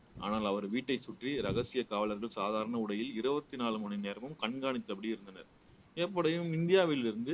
ஆனால் அவர் வீட்டை சுற்றி ரகசிய காவலர்கள் சாதாரண உடையில் இருபத்தி நாலு மணி நேரமும் கண்காணித்தபடி இருந்தனர் எப்படியும்